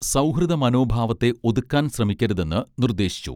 സൗഹൃദ മനോഭാവത്തെ ഒതുക്കാൻ ശ്രമിക്കരുതെന്ന് നിർദ്ദേശിച്ചു